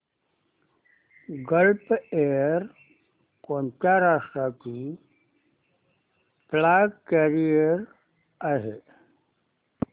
gulf Air कोणत्या राष्ट्राची flag carrier आहे